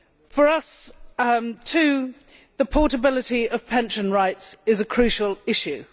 For us, too, the portability of pension rights is a crucial issue.